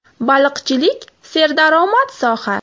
Baliqchilik serdaromad soha.